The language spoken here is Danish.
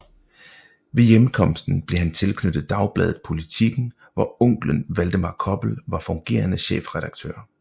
Ved hjemkomsten blev han tilknyttet dagbladet Politiken hvor onkelen Valdemar Koppel var fungerende chefredaktør